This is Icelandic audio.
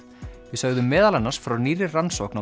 við sögðum meðal annars frá nýrri rannsókn